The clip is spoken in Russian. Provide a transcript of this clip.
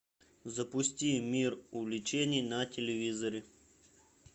запусти мир увлечений на телевизоре